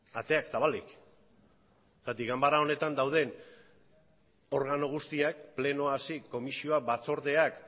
ateak zabalik zergatik ganbera honetan dauden organo guztiak plenoa hasi komisioak batzordeak